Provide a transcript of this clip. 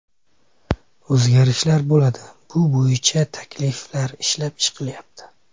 O‘zgarishlar bo‘ladi, bu bo‘yicha takliflar ishlab chiqilyapti.